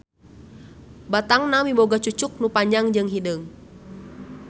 Batangna miboga cucuk nu panjang jeung hideung.